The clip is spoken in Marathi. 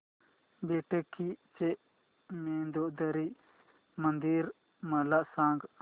बेटकी चे मंदोदरी मंदिर मला सांग